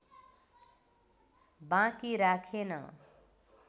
बाँकी राखेन